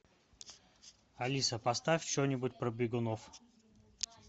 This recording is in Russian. алиса поставь что нибудь про бегунов